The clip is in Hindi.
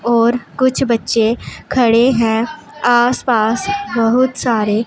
और कुछ बच्चे खड़े हैं आसपास बहुत सारे--